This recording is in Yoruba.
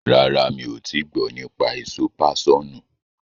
Rárá, mi ò tii gbọ́ nípa èso páṣọ̀nù.